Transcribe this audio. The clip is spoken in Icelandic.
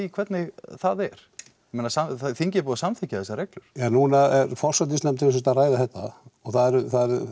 hvernig það er ég meina þingið er búið að samþykkja þessar reglur núna er forsætisnefnd sem sagt að ræða þetta og það eru